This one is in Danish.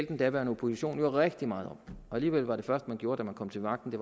den daværende opposition jo rigtig meget om og alligevel var det første man gjorde da man kom til magten